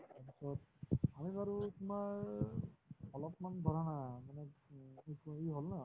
আকৌ আমি বাৰু তোমাৰ অলপমান